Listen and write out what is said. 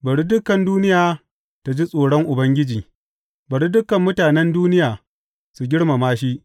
Bari dukan duniya ta ji tsoron Ubangiji; bari dukan mutanen duniya su girmama shi.